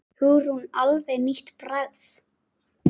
Hugrún: Alveg nýtt bragð?